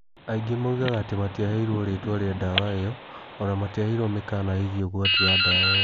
Aingĩ moigaga atĩ matiaheirũo rĩĩtwa rĩa ndawa ĩyo o na matiaheirũo mĩkaana ĩgiĩ ũgwati wa dawa ĩyo.